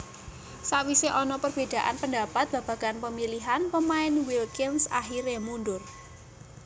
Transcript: Sakwisé ana perbedaan pendapat babagan pemilihan pemain Wilkins akhiré mundur